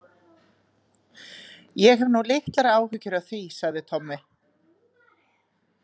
Ég hef nú litlar áhyggjur af því, sagði Tommi.